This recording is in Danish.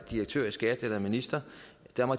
direktør i skat eller minister